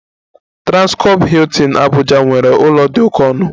Transcorp Hilton Abuja nwere ụlọ dị oke ọnụ